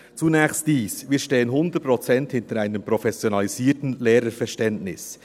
Zunächst dies: Wir stehen hundertprozentig hinter einem professionalisierten Lehrerverständnis.